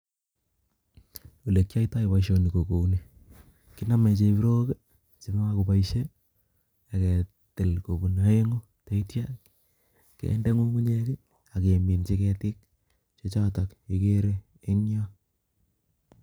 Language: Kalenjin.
Ole kiyoitoi boisoni ko kouni, kiname chebrok che makoboisie, aketil kobun aeng' tetia kende ng'ung'unyek ageminchi ketik, che chotok igere en yoo